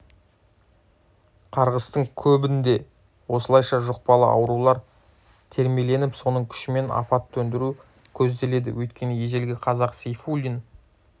қарғыстың көбінде осылайша жұқпалы аурулар термеленіп соның күшімен апат төндіру көзделеді өйткені ежелгі қазақ сейфуллин